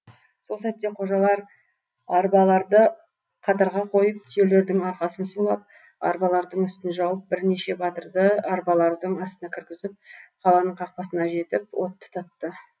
сол сәтте қожалар арбаларды қатарға қойып түйелердің арқасын сулап арбалардың үстін жауып бірнеше батырды арбалардың астына кіргізіп қаланың қақпасына жетіп от тұтатты